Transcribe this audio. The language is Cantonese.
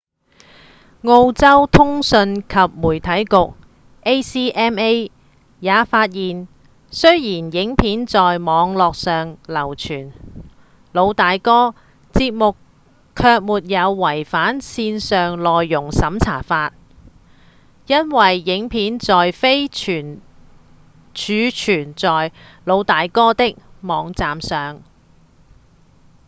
澳洲通訊及媒體局 acma 也發現雖然影片在網路上流傳《老大哥》節目卻沒有違反線上內容審查法因為影片並非儲存在《老大哥》的網站上